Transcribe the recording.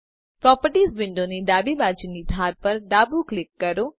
properties વિન્ડોની ડાબી બાજુની ધાર પર ડાબું ક્લિક કરો